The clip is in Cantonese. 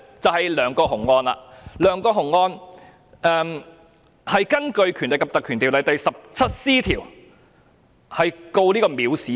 在梁國雄案中，當局是根據《條例》第 17c 條控告梁國雄藐視罪。